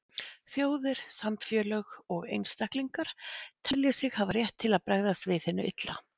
Þjóðir, samfélög og einstaklingar telja sig hafa rétt til að bregðast við hinu illa.